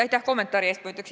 Aitäh kommentaari eest!